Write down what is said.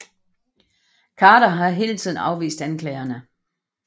Khader har hele tiden afvist anklagerne